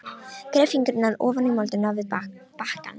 Gref fingurna ofan í moldina við bakkann.